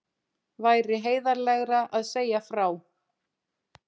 Væri heiðarlegra að segja frá